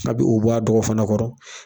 A bɛ o bɔ a dɔgɔ fana kɔrɔ.